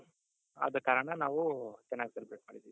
ಅದಕಾರಣ ನಾವು ಚೆನ್ನಾಗ್ celebrate ಮಾಡಿದಿವಿ.